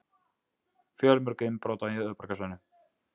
Fjölmörg innbrot á höfuðborgarsvæðinu